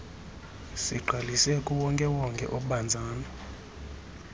sigqalise kuwonkewonke obanzana